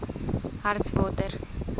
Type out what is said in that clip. hartswater